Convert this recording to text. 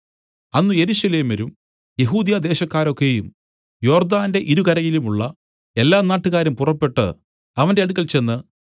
അന്ന് യെരൂശലേമ്യരും യെഹൂദ്യദേശക്കാരൊക്കയും യോർദ്ദാന്റെ ഇരുകരയുമുള്ള എല്ലാ നാട്ടുകാരും പുറപ്പെട്ടു അവന്റെ അടുക്കൽ ചെന്ന്